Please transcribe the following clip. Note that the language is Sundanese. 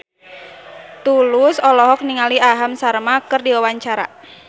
Tulus olohok ningali Aham Sharma keur diwawancara